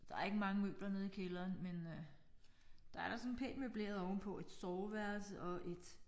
Der ikke mange møbler nede i kælderen men øh der er da sådan pænt møbleret ovenpå et soveværelse og et